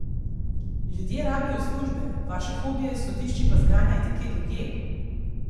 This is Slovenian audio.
Ljudje rabijo službe, vaše hobije s sodišči pa zganjajte kje drugje!